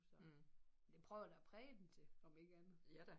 Så men det prøver jeg da at præge dem til om ikke andet